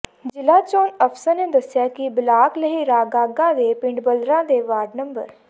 ਜ਼ਿਲ੍ਹਾ ਚੋਣ ਅਫ਼ਸਰ ਨੇ ਦੱਸਿਆ ਕਿ ਬਲਾਕ ਲਹਿਰਾਗਾਗਾ ਦੇ ਪਿੰਡ ਬੱਲਰਾਂ ਦੇ ਵਾਰਡ ਨੰ